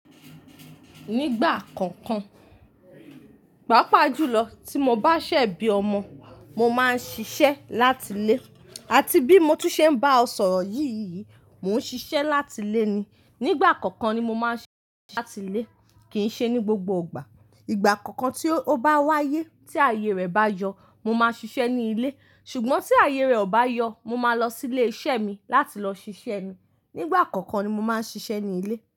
Nígbà kọ̀ọ̀kan, pàápàá jùlọ tí mo bá sẹ̀ bí ọmọ, mo máa ń ṣiṣẹ́ láti ilé àti bí mo tí ṣe ń bá ẹ sọ̀rọ̀ yìí, mò ń ṣiṣẹ́ láti ilé ni. Nígbà kọ̀ọ̀kan ni mo máa ń ṣiṣẹ́ láti ilé, kì í ṣe ní gbogbo ìgbà. Ìgbà kọ̀ọ̀kan tí ó bá wáyé tí ààyè rẹ̀ bá yọ, mo máa ṣiṣẹ́ ní ilé. Ṣùgbọ́n tí ààyè rẹ̀ ò bá yọ, mo máa lọ sí ilé iṣẹ́ mi láti lọ ṣiṣẹ́ mi. Nígbà kọ̀ọ̀kan ni mo máa ń ṣiṣẹ́ ní ilé.